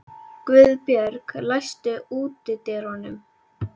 Guðbjörg, læstu útidyrunum.